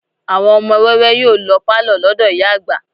Àwọn ọmọ wẹ́wẹ́ yóò lọ pàlọ́ lọ́dọ̀ ìyá àgbà